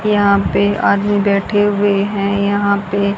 यहाँ पे आदमी बैठे हुए हैं यहाँ पे--